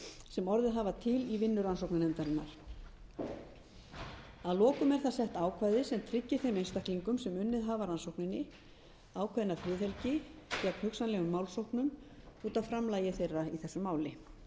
sem orðið hafa til í vinnu rannsóknarnefndarinnar að lokum er þar sett ákvæði sem tryggir þeim einstaklingum sem unnið hafa að rannsókninni ákveðna friðhelgi gegn hugsanlegum málsóknum út af framlagi þeirra í þessu máli áður